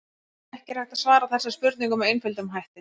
Ekki er hægt að svara þessari spurningu með einföldum hætti.